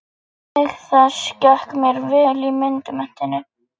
Stílfærð þverskurðarmynd af ysta hluta jarðar.